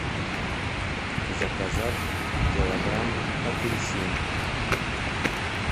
заказать килограмм апельсин